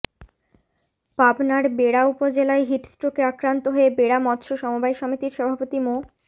পাবনার বেড়া উপজেলায় হিটস্ট্রোকে আক্রান্ত হয়ে বেড়া মৎস্য সমবায় সমিতির সভাপতি মো